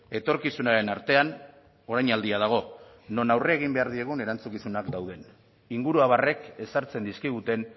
etorkizunaren artean orainaldia dago non aurre egin behar diegun erantzukizunak dauden inguruabarrek ezartzen dizkiguten